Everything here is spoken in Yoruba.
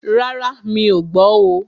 Rárá, mí ọ̀ gbọ́ oo.